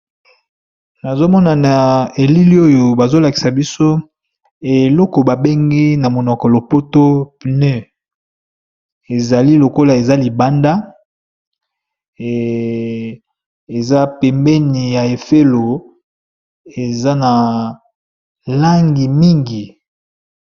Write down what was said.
nazomona na elili oyo bazolakisa biso eloko babengi na monoko lopoto pneu ezali lokola eza libanda eza pembeni ya efelo eza na langi mingi